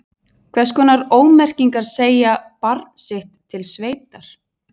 Hvers konar ómerkingar segja barn sitt til sveitar?